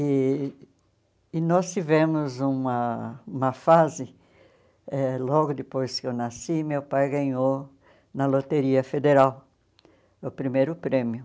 E e nós tivemos uma uma fase, eh logo depois que eu nasci, meu pai ganhou na Loteria Federal o primeiro prêmio.